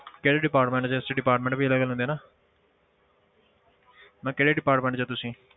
ਕਿਹੜੇ department 'ਚ ਇਸ 'ਚ department ਵੀ ਅਲੱਗ ਅਲੱਗ ਹੁੰਦੇ ਆ ਨਾ ਮੈਂ ਕਿਹਾ ਕਿਹੜੇ department ਵਿੱਚ ਹੋ ਤੁਸੀਂ?